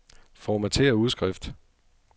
Formatér udskrift.